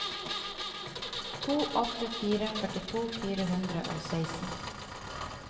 to åtte fire tre førtito fire hundre og seksten